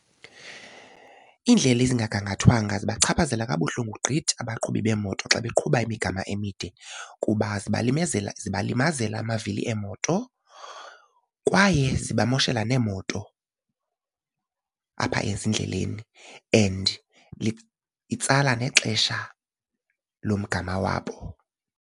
Iindlela ezingagangathwanga zibachaphazela kabuhlungu gqithi abaqhubi beemoto xa beqhuba imigama emide kuba zibalimezela zibalimazela amavili eemoto kwaye zibamoshela neemoto apha ezindleleni and itsala nexesha lomgama wabo.